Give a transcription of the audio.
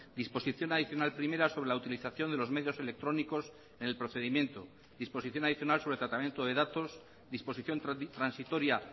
disposición adicional primera sobre la utilización de los medios electrónicos en el procedimiento disposición adicional sobre tratamiento de datos disposición transitoria